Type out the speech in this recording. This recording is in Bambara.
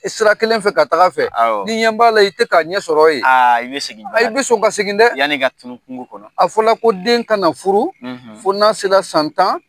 Sira kelen fɛ ka taga fɛ. Awɔ. Nin ɲɛ b'a la i tɛ k'a ɲɛ sɔrɔ ye. I bɛ segi jona dɛ. I bɛ sɔn ka segi dɛ. Yann'i ka tunu kungo kɔnɔ. A fɔla ko den kan ka furu, ,fo n'a sera san tan.